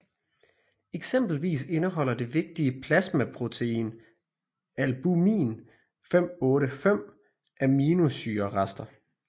Eksempelvis indeholder det vigtige plasmaprotein albumin 585 aminosyrerester